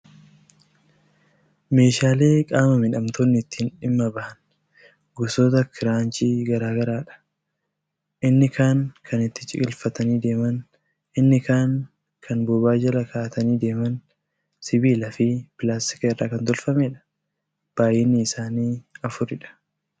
Meeshaalee qaama miidhamtoonni itti dhimma bahan, gosoota kiraanchii garaa garaadha. Inni kaan kan itti ciqilfatanii deeman, inni kaan kan bobaa jala kaa'atanii deemaniidha. Siibiila fi pilaastika irraa kan tolfamedha. Baay'inni isaanii afuridha.